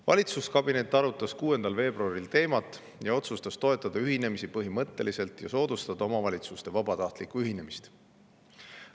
Valitsuskabinet arutas teemat 6. veebruaril ning otsustas ühinemisi põhimõtteliselt toetada ja omavalitsuste vabatahtlikku ühinemist soodustada.